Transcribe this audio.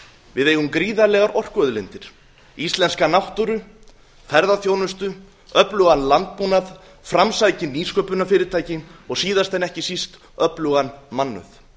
við eigum gríðarlegar orkuauðlindir íslenska náttúru ferðaþjónustu öflugan landbúnað framsækin nýsköpunarfyrirtæki og síðast en ekki síst öflugan mannauð